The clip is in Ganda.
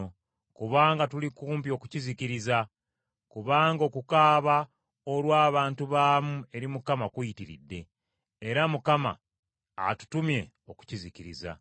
kubanga tuli kumpi okukizikiriza. Kubanga okukaaba olw’abantu baamu eri Mukama kuyitiridde, era atutumye okukizikiriza.”